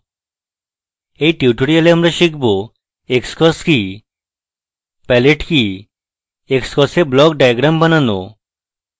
in tutorial আমরা শিখব xcos কি palette কি xcos এ block diagrams বানানো